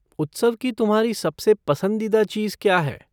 उत्सव की तुम्हारी सबसे पसंदीदा चीज़ क्या है?